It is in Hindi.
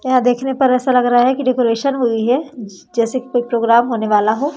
यहां देखने पर ऐसा लग रहा है की डेकोरेशन हुई है जैसे की कोई प्रोग्राम होने वाला हो--